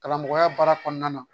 Kalan mɔgɔya baara kɔnɔna na